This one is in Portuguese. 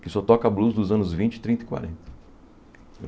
que só toca blues dos anos vinte, trinta e quarenta.